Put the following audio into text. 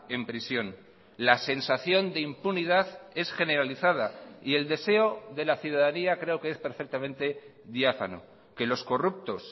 en prisión la sensación de impunidad es generalizada y el deseo de la ciudadanía creo que es perfectamente diáfano que los corruptos